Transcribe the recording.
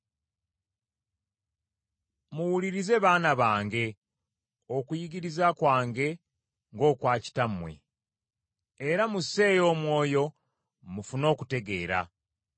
Muwulirize baana bange okuyigiriza kwange ng’okwa kitammwe, era musseeyo omwoyo mufune okutegeera.